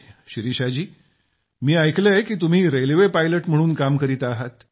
शिरीषा जी मी ऐकलं की तुम्ही रेल्वे पायलट म्हणून काम करीत आहात